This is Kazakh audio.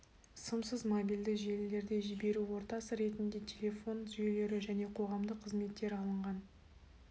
сымсыз мобильді желілерде жіберу ортасы ретінде телефон жүйелері және қоғамдық қызметтер алынған